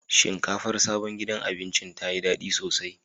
Shinkafar sabon gidan abincin ta yi daɗi sosai.